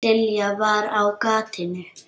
Lilla var á gatinu.